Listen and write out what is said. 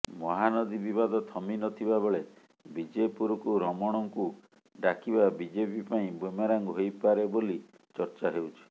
ମହାନଦୀ ବିବାଦ ଥମିନଥିବା ବେଳେ ବିଜେପୁରକୁ ରମଣଙ୍କୁ ଡାକିବା ବିଜେପି ପାଇଁ ବୁମେରାଂ ହୋଇପାରେ ବୋଲି ଚର୍ଚ୍ଚା ହେଉଛି